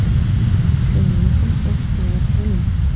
Shuning uchun ehtiyot bo‘ling.